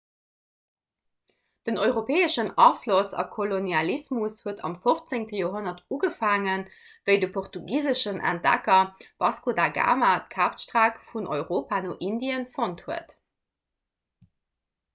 den europäeschen afloss a kolonialismus huet am 15 joerhonnert ugefaangen wéi de portugiseschen entdecker vasco da gama d'kapstreck vun europa no indie fonnt huet